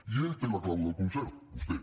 i ell té la clau del concert vostè